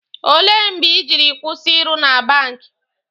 Ole mgbe Ị jiri kwụsị ịrụ na bank?